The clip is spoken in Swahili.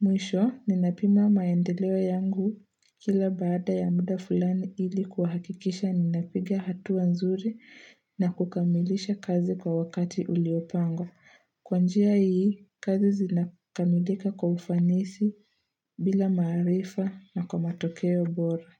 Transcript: Mwisho ninapima maendeleo yangu kila baada ya mda flani ili kuhakikisha ninapiga hatua nzuri na kukamilisha kazi kwa wakati uliopangwa. Kwa njia hii, kazi zinakamilika kwa ufanisi bila maarifa na kwa matokeo bora.